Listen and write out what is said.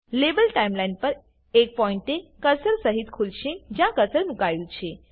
label timeline પર એક પોઇન્ટે કર્સર સહીત ખુલશે જ્યાં કર્સર મુકાયું છે